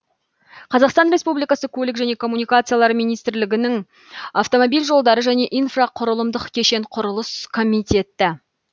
қазақстан республикасы көлік және коммуникациялар министрлігінің автомобиль жолдары және инфрақұрылымдық кешен құрылыс комитеті